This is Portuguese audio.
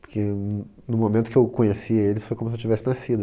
Porque no momento que eu conheci eles, foi como se eu tivesse nascido.